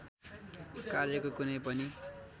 कार्यको कुनै पनि